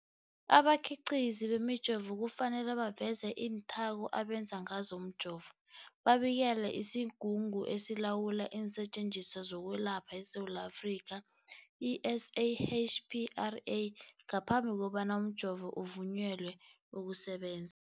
Abakhiqizi bemijovo kufanele baveze iinthako abenze ngazo umjovo, babikele isiGungu esiLawula iinSetjenziswa zokweLapha eSewula Afrika, i-SAHPRA, ngaphambi kobana umjovo uvunyelwe ukusebenza.